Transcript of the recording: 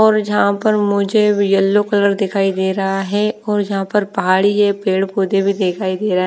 और जहां पर मुझे येल्लो कलर दिखाई दे रहा है और जहां पर पहाड़ी है पेड़ पोधै भी दिखाई दे र--